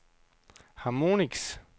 Chamonix